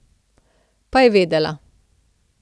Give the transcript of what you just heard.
Pa je vedela.